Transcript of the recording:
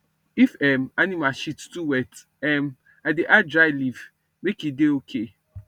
if um animal shit too wet um i dey add dry leaf make e dey okay